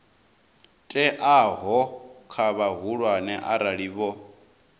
teaho kha vhahulwane arali vho